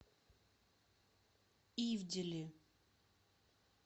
ивделе